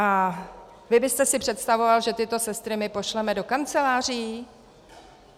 A vy byste si představoval, že tyto sestry my pošleme do kanceláří?